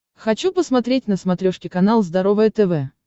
хочу посмотреть на смотрешке канал здоровое тв